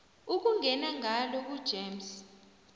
ukungena ngalo kugems